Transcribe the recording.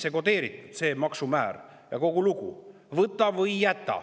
See maksumäär on sinna sisse kodeeritud, ja kogu lugu, võta või jäta.